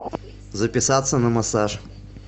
записаться на массаж